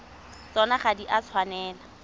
tsona ga di a tshwanela